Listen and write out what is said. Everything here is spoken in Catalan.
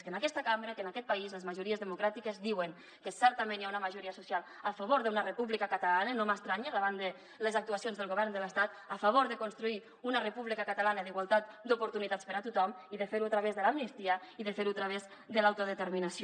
que en aquesta cambra que en aquest país les majories democràtiques diuen que certament hi ha una majoria social a favor d’una república catalana i no m’estranya davant les actuacions del govern de l’estat a favor de construir una república catalana d’igualtat d’oportunitats per a tothom i de fer ho a través de l’amnistia i de fer ho a través de l’autodeterminació